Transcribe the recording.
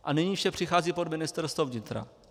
A nyní vše přechází pod Ministerstvo vnitra.